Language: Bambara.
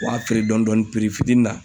U w'a dɔɔni dɔɔni fitini na